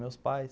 Meus pais...